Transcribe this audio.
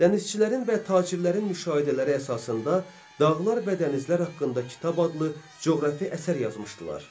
Dənizçilərin və tacirlərin müşahidələri əsasında dağlar və dənizlər haqqında kitab adlı coğrafi əsər yazmışdılar.